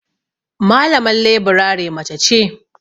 Malaman leburare mace ce.